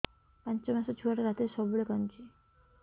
ପାଞ୍ଚ ମାସ ଛୁଆଟା ରାତିରେ ସବୁବେଳେ କାନ୍ଦୁଚି